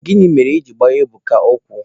Gịnị mere I ji gbaa Ebuka ụkwụ?